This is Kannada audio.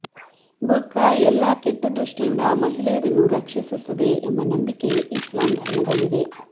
ಬುರ್ಕಾ ಎಲ್ಲಾ ಕೆಟ್ಟ ದೃಷ್ಠಿಯಿಂದ ಮಹಿಳೆಯರನ್ನು ರಕ್ಷಿಸುತ್ತದೆ ಎಂಬ ನಂಬಿಕೆ ಇಸ್ಲಾಂ ಧರ್ಮದಲ್ಲಿದೆ